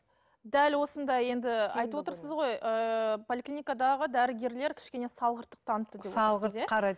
дәл осындай енді айтып отырсыз ғой ыыы поликлиникадаға дәрігерлер кішкене салғырттық танытты деп